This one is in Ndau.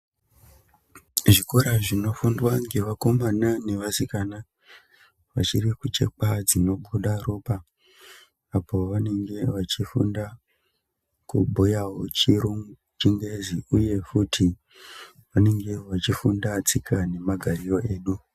Zvikora zvinofundwa ngevakomana nevasikana vachiri kuchekwa dzinobuda ropa apo vanenge vachifunda kubhuyawo chirungu chingezi uye futi vanenge vachifunda tsika nemagariro edu.